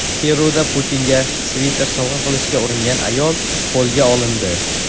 Peruda Putinga sviter sovg‘a qilishga uringan ayol qo‘lga olindi.